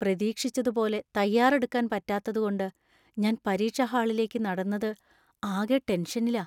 പ്രതീക്ഷിച്ചതുപോലെ തയ്യാറെടുക്കാൻ പറ്റാത്തതുകൊണ്ട് ഞാൻ പരീക്ഷാ ഹാളിലേക്ക് നടന്നത് ആകെ ടെന്ഷനിലാ.